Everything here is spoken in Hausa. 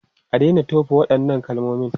A daina tofa waɗannan kalmomin!